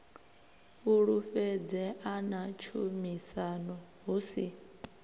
fhulufhedzea na tshumisano hu si